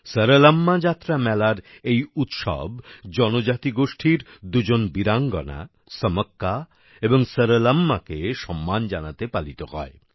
সরলাম্মা যাত্রা মেলার এই উৎসব জনজাতিগোষ্ঠীর দুজন বীরাঙ্গনা সমক্কা এবং সরলম্মাকে সম্মান জানাতে পালিত হয়